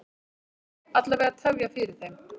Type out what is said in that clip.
Alla vega tefja fyrir þeim.